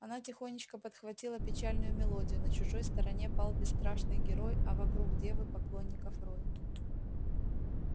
она тихонечко подхватила печальную мелодию на чужой стороне пал бесстрашный герой а вокруг девы поклонников рой